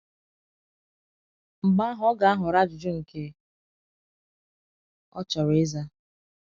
Mgbe ahụ ọ ga - ahọrọ ajụjụ nke ọ chọrọ ịza.